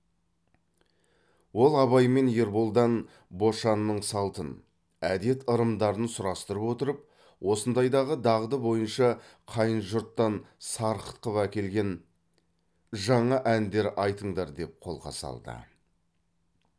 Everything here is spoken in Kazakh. ол абай мен ерболдан бошанның салтын әдет ырымдарын сұрастырып отырып осындайдағы дағды бойынша қайын жұрттан сарқыт қып әкелген жаңа әндер айтыңдар деп қолқа салды